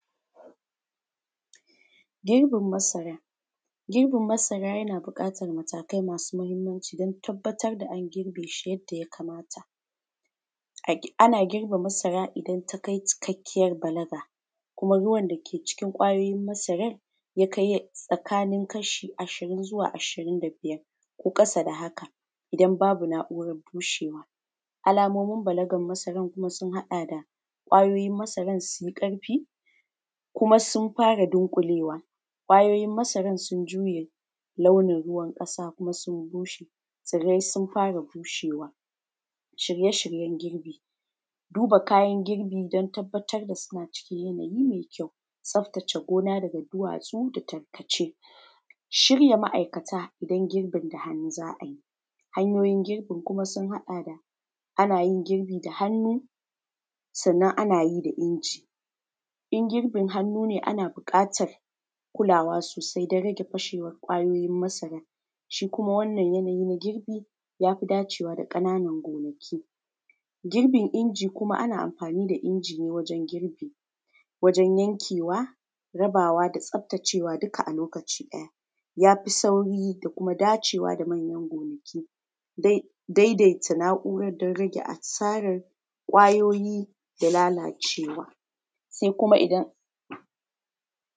Girbin masara. Girbin masara yana buƙatan matakai masu yawa don tabbatar da an girbe shi. Yanda ya kamata ana girbe masara idan takai cikkakiyan balagaGirbin masara. Girbin masara yana buƙatan matakai masu yawa don tabbatar da an girbe shi. Yanda ya kamata ana girbe masara idan takai cikkakiyan balaga kuma ruwar dake cikin kwayoyin masarar ya kai tsakanin kashi ashirin zuwa ashirin da biyar ko ƙasa da haka, Idan babu na’urar toshewa. Alamomin balagar masaran kuma sun haɗa da kwayoyin masaran sun yi ƙarfi, kuma sun fara dunƙulewa, kwayoyin masaran sun juye launin ruwan ƙasa kuma sun bushe, tsiran sun fara bushewa. Shirye-shiryen girbi, duba kayan girbi don tabbatar da suna cikin yanayi mai kyau, tsaftace gona daga duwatsu da tarkace, shirya ma’aikata don girbin da hannu za a yi. Hanyoyin girbin sun haɗa da ana yin girbi da hannu sannan ana yi da inji. In girbin hannu ne ana buƙatan kulawa sosai don rage fashewar kwayoyin masaran, shi kuma wannan yanayi na girbi ya fi dacewa da ƙananan gonakii. Girbin inji kuma ana amfani da inji ne, ana amfani da inji ne wajen yankewa, rabawa da tsaftacewa duka a lokaci ɗaya, ya fi sauri da kuma dacewa da manyan gonaki da daidaita na’urar don rage asarar kwayoyi da lalacewa. Sai kuma idan.